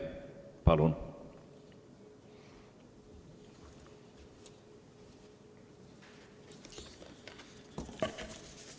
Palun!